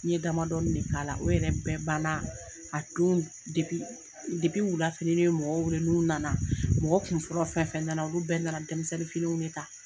N ye damadɔɔni de k'a la o yɛrɛ bɛɛ ban na a don de depi depi wula fɛ ni ne ye mɔgɔw weele n'o nana mɔgɔ kun fɔlɔ fɛn fɛn na na u bɛɛ na na denmisɛnnin finiw de ta.